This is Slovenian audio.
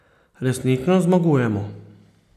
Resnično zmagujemo.